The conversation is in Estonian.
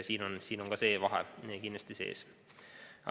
Siin on ka see vahe kindlasti sees.